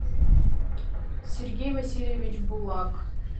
сергей васильевич булак